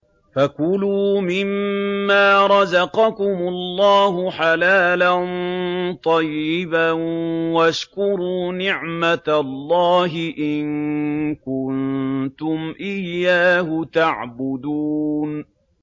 فَكُلُوا مِمَّا رَزَقَكُمُ اللَّهُ حَلَالًا طَيِّبًا وَاشْكُرُوا نِعْمَتَ اللَّهِ إِن كُنتُمْ إِيَّاهُ تَعْبُدُونَ